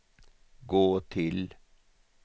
gå till